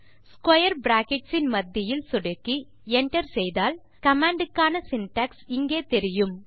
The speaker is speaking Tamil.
ஸ்க்வேர் பிராக்கெட்ஸ் இன் மத்தியில் சொடுக்கி enter செய்தால் கமாண்ட் க்கான சின்டாக்ஸ் இங்கே தெரியும்